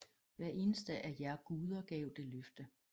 Hver eneste af jer guder gav det løfte